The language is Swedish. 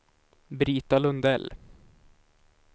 Brita Lundell